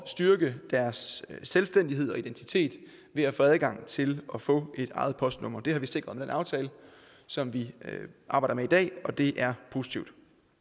styrke deres selvstændighed og identitet ved at få adgang til at få et eget postnummer det har vi sikret med den aftale som vi arbejder med i dag og det er positivt